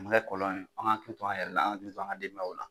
Nin bɛɛ kɔlɔn ye f'an k'an hakili to an yɛrɛ la an ga hakili to an ga denbayawla